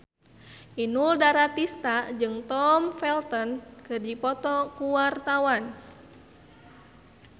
Inul Daratista jeung Tom Felton keur dipoto ku wartawan